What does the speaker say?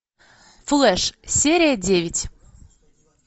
флэш серия девять